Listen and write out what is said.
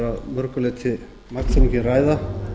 mörgu leyti magnþrungin ræða